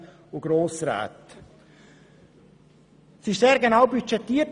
Es wurde sehr genau budgetiert.